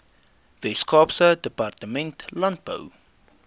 weskaapse departement landbou